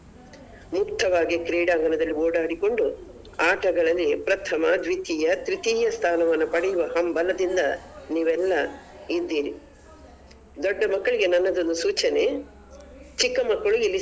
ಮುಕ್ತವಾಗಿ ಕ್ರೀಡಾಂಗಣದಲ್ಲಿ ಓಡಾಡಿಕೊಂಡು ಆಟಗಳಲ್ಲಿ ಪ್ರಥಮ, ದ್ವಿತೀಯ, ತ್ರಿತೀಯ ಸ್ಥಾನವನ್ನ ಪಡೆಯುವ ಹಂಬಲದಿಂದ ನೀವೆಲ್ಲ ಇದ್ದೀರಿ ದೊಡ್ಡ ಮಕ್ಕಳಿಗೆ ನನ್ನದೊಂದು ಸೂಚನೆ ಚಿಕ್ಕ.